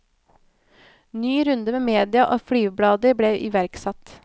Ny runde med media og flyveblader ble iverksatt.